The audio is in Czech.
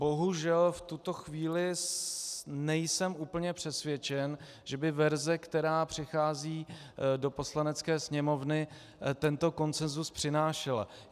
Bohužel v tuto chvíli nejsem úplně přesvědčen, že by verze, která přichází do Poslanecké sněmovny, tento konsenzus přinášela.